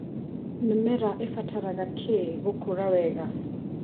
Mĩmera ĩbataraga kĩi gũkũra wega.